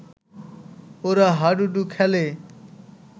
ওরা হাডুডু খেলে